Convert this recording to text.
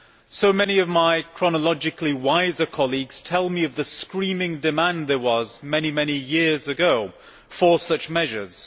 So many of my chronologically wiser colleagues tell me of the screaming demand there was many years ago for such measures.